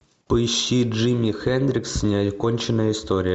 поищи джимми хендрикс неоконченная история